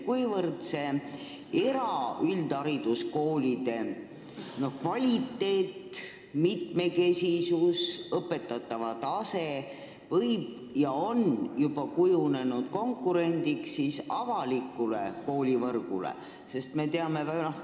Kuivõrd see eraüldhariduskoolide kvaliteet, mitmekesisus ja õpetatava tase võib kujuneda ja on juba kujunenud konkurendiks avalikule koolivõrgule?